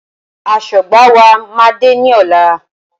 Aṣọ́gbà wa máa dé ní ọ̀la.